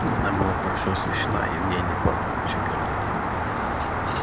она была хорошо освещена и в ней не пахло ничем дурным